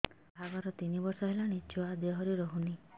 ବାହାଘର ତିନି ବର୍ଷ ହେଲାଣି ଛୁଆ ଦେହରେ ରହୁନି